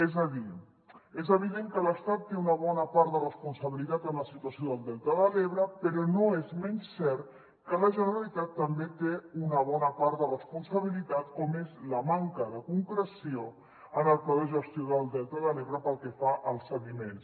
és a dir és evident que l’estat té una bona part de responsabilitat en la situació del delta de l’ebre però no és menys cert que la generalitat també té una bona part de responsabilitat com és la manca de concreció en el pla de gestió del delta de l’ebre pel que fa als sediments